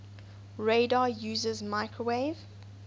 radar uses microwave